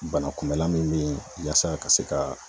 Bana kunbɛlan min be yaasa ka se ka